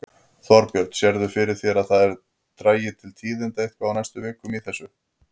Þorbjörn: Sérðu fyrir þér að það dragi til tíðinda eitthvað á næstu vikum í þessu?